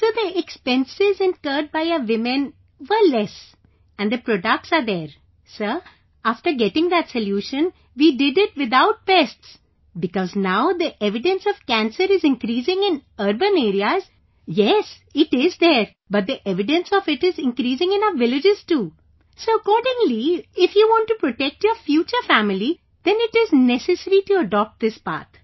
Sir, the expenses incurred by our women were less and the products are there, sir, after getting that solution, we did it without pests... because now the evidence of cancer is increasing in urban areas... yes, it is there, but the evidence of it is increasing in our villages too, so accordingly, if you want to protect your future family, then it is necessary to adopt this path